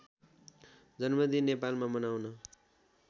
जन्मदिन नेपालमा मनाउन